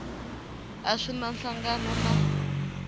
a swi na nhlangano na